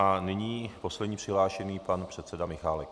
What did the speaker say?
A nyní poslední přihlášený, pan předseda Michálek.